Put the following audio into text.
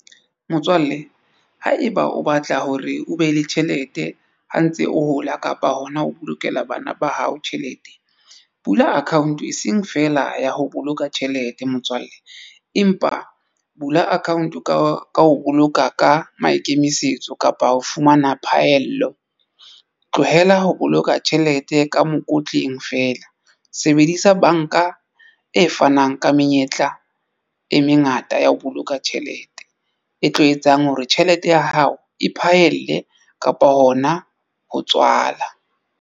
Motswalle haeba o batla hore o be le tjhelete ha o ntse o hola, kapa hona ho bolokela bana ba hao tjhelete bula account e seng feela ya ho boloka tjhelete motswalle, empa bula account ka ho boloka ka maikemisetso kapa ho fumana phaello, tlohela ho boloka tjhelete ka mokotleng feela. Sebedisa banka e fanang ka menyetla e mengata ya ho boloka tjhelete e tlo etsang hore tjhelete ya hao e mphahelle kapa hona ho tswala.